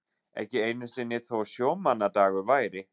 Ekki einu sinni þó sjómannadagur væri.